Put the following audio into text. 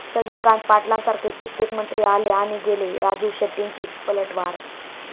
चंद्रकांत पाटलांसारखे कित्येक मंत्री आले आणि गेले, राजू शेट्टींची पलटवार